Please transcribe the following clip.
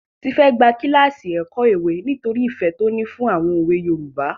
Tife gba kíláàsì ẹ̀kọ́ òwe nítorí ìfẹ́ tó ní fún àwọn òwe Yorùbá.